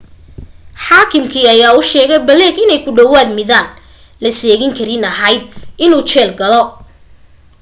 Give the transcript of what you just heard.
xaakimkii ayaa u sheegay blake inay ku dhawaad midaan la seegin karayn ahayd inuu jeel galo